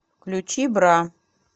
включи бра